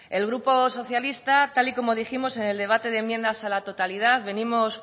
el grupo socialista tal y como dijimos en el debate de enmiendas a la totalidad venimos